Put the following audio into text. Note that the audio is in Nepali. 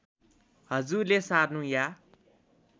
हजुरले सार्नु या